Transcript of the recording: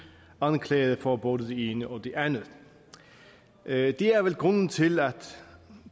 anklaget for både det ene og det andet det er vel grunden til at